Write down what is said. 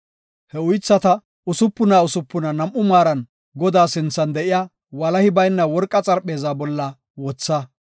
He uythata usupuna usupuna nam7u maaran Godaa sinthan de7iya walahi bayna worqa xarpheeza bolla wotha.